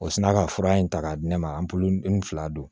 O sina ka fura in ta k'a di ne ma n fila don